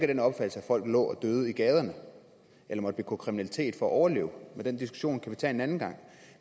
den opfattelse at folk lå og døde i gaderne eller måtte begå kriminalitet for at overleve men den diskussion kan vi tage en anden gang